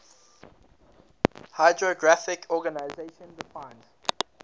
hydrographic organization defines